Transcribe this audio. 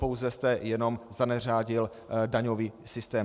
Pouze jste jenom zaneřádil daňový systém.